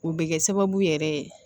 O bɛ kɛ sababu yɛrɛ ye